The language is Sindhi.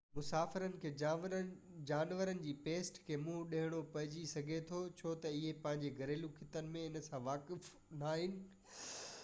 مسافرن کي جانورن جي پيسٽ کي منهن ڏيڻو پئجي سگهي ٿو ڇو تہ اهي پنهنجي گهريلو خطن ۾ ان سان واقف ناهن